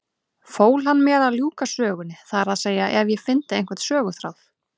Fól hann mér að ljúka sögunni, það er að segja ef ég fyndi einhvern söguþráð.